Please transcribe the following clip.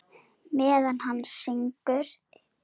Meðan hann syngur.